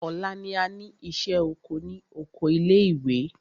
Ọ̀la ni a ní ìṣẹ́ oko ní oko ilé ìwé.